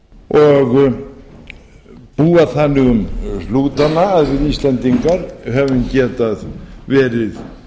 og búa þannig um hnútana að við íslendingar höfum getað verið